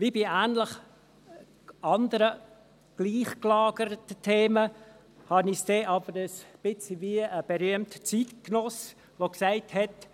Wie bei anderen, gleich gelagerten Themen habe ich es dann aber ein bisschen wie ein berühmter Zeitgenosse, der gesagt hat: